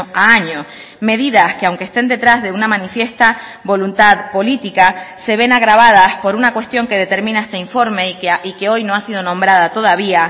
a año medidas que aunque estén detrás de una manifiesta voluntad política se ven agravadas por una cuestión que determina este informe y que hoy no ha sido nombrada todavía